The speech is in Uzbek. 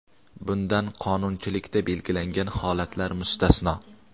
bundan qonunchilikda belgilangan holatlar mustasno.